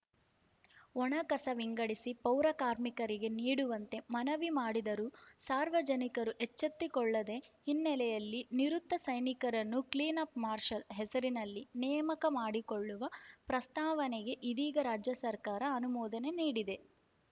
ಒಣ ಕಸ ವಿಂಗಡಿಸಿ ಪೌರಕಾರ್ಮಿಕರಿಗೆ ನೀಡುವಂತೆ ಮನವಿ ಮಾಡಿದರೂ ಸಾರ್ವಜನಿಕರು ಎಚ್ಚೆತ್ತುಕೊಳ್ಳದ ಹಿನ್ನೆಲೆಯಲ್ಲಿ ನಿವೃತ್ತ ಸೈನಿಕರನ್ನು ಕ್ಲೀನ್‌ ಅಪ್‌ ಮಾರ್ಷಲ್‌ ಹೆಸರಿನಲ್ಲಿ ನೇಮಕ ಮಾಡಿಕೊಳ್ಳುವ ಪ್ರಸ್ತಾವನೆಗೆ ಇದೀಗ ರಾಜ್ಯ ಸರ್ಕಾರ ಅನುಮೋದನೆ ನೀಡಿದೆ